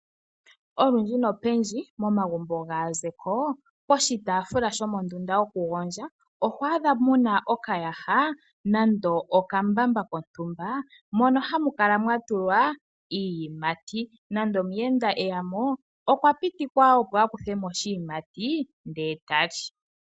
Olundji nopendji momagumbo gaazeko poshitaafula shokugondja oho adha mo mu na okayaha nande okambamba kontumba mono hamu kala mwa tulwa iiyimati. Nande omuyenda eya mo okwa pitikwa opo a kuthe mo oshiyimati ndele ta li.